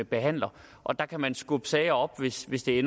behandler og der kan man skubbe sager op hvis hvis det